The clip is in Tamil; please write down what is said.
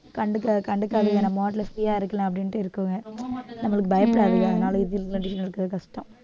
கண்டுக்க கண்டுக்காததுக்கான யா இருக்கலாம் அப்படின்ட்டு இருக்குங்க நம்மளுக்கு பயப்படாதீங்க அதனால இதுல கஷ்டம்